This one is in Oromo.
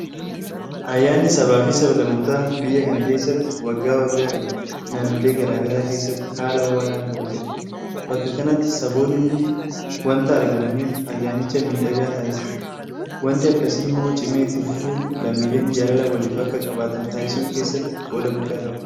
Ayyaanni sabaafi sablammootaa biyya kana keessatti waggaa waggaadhaan naannolee garaa garaa keessatti haala ho'aadhaan kabajama. Bakka kanatti saboonni hundi waanta argamaniif ayyaanicha miidhagaa taasisa. Waanti akkasii immoo cimee itti fufuun lammiileen jaalala waliif akka qabaatan taasisuu keessatti qooda guddaa qaba.